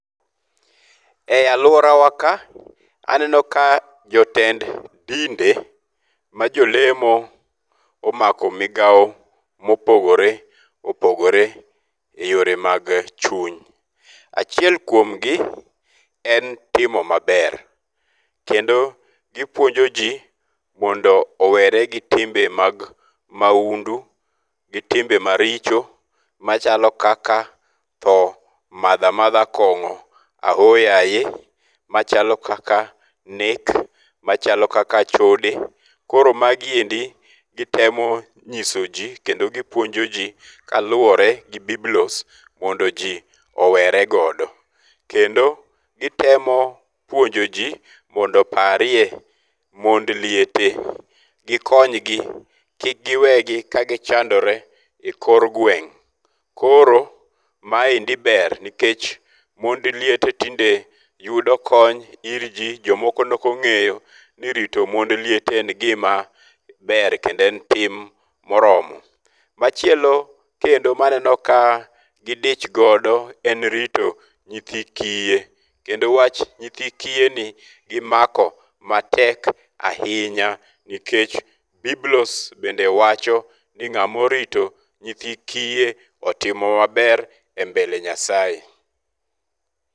E aluora wa ka, aneno ka jotend dinde majolemo omako migawo mopogore opogore eyore mag chuny. Achiel kuomgi en timo maber. Kendo gipuonjo ji mondo owere gi timbe mag maundu gi timbe maricho machalo kaka tho madho amadha kong'o aho yaye, machalo kaka nek, machalo kaka chode. Koro magiendi gitemo nyiso ji kendo gi puonjo ji ka luwore gi biblos mondo ji owere godo. Kendo gitemo puonjo ji mondo oparie mond liete. Gikony gi. Kik giwegi ka gichandore e kor gweng'. Koro maendi ber nikech mond liete tinde yudo kony ir ji. Jomoko ne ok ong'eyo ni rito mond liete en gima ber kendo en tim moromo. Machielo kendo maneno ka gidich godo en rito nyithi kiye . Kendo wach nyithi kiye ni gimako matek ahinya. Nikech biblos bende wacho ni ng'ama orito nyithi kiye otimo maber e mbele Nyasaye.